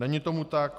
Není tomu tak.